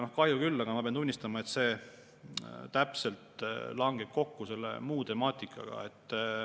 Ja kahju küll, aga ma pean tunnistama, et see langeb täpselt kokku selle muu temaatikaga.